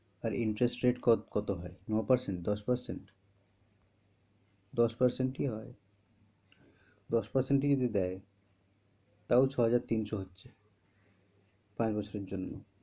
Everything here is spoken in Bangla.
আর interest কত হয়? নয় percentage দশ percent দশ percentage ই হয়, দশ percent ই যদি দেয় তাও ছয় হাজার তিনশো হচ্ছে পাঁচ বছরের জন্য,